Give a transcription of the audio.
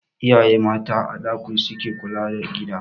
Iyaye mata a da su ke kula da gida